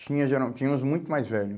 Tinha geral tinha uns muito mais velhos.